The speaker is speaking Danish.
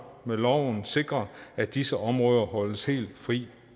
med loven sikre at disse områder holdes helt fri